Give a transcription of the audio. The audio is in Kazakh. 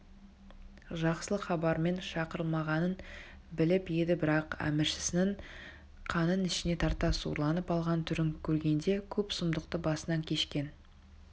жақсылық хабармен шақырылмағанын біліп еді бірақ әміршісінің қанын ішіне тарта сұрланып алған түрін көргенде көп сұмдықты басынан кешкен